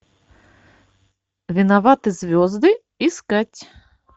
виноваты звезды искать